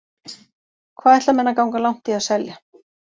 Hvað ætla menn að ganga langt í að selja.